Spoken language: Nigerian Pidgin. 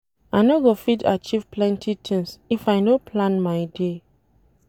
I no go fit achieve plenty tins if I no plan my day.